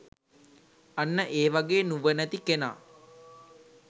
අන්න ඒ වගේ නුවණැති කෙනා